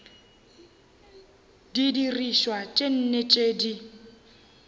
didirišwa tše nne tše di